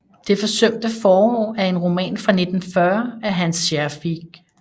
Det forsømte forår er en roman fra 1940 af Hans Scherfig